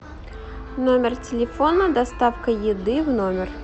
номер телефона доставка еды в номер